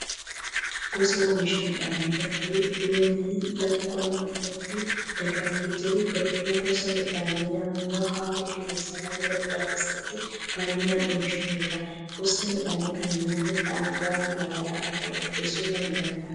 Gosa oomisha midhaan garbuu ooyiruu lafa qonnaa irratti dagaagee jiru. Garbuun gosa midhaanii naannoo haala qilleensa lafa baddaa keessatti baay'inaan oomishamudha. Gosti midhaan kanaa nyaata dhangaa garaa garaa irraa qopheessuuf kan gargaarudha.